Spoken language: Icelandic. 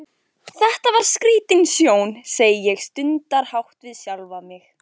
Þetta var skrítin sjón, segi ég stundarhátt við sjálfa mig.